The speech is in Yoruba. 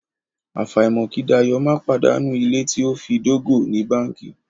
Àfàìmọ̀ kí Dayọ̀ má pàdánù ilé to fi dógò ní báńkì.